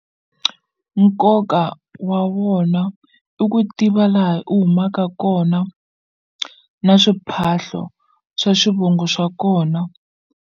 Nkoka wa wona i ku tiva laha u humaka kona na swiphahlo swa swivongo swa kona.